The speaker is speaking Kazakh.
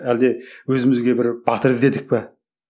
әлде өзімізге бір батыр іздедік пе